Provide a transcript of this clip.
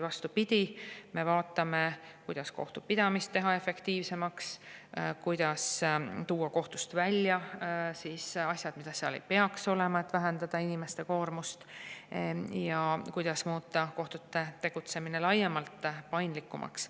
Vastupidi, me vaatame, kuidas teha kohtupidamine efektiivsemaks, kuidas tuua kohtust välja asjad, mida seal ei peaks olema, et vähendada inimeste koormust, ja kuidas muuta kohtute tegutsemine laiemalt paindlikumaks.